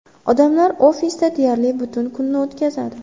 Odamlar ofisda deyarli butun kunni o‘tkazadi.